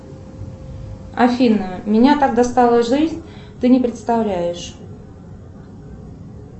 афина меня так достала жизнь ты не представляешь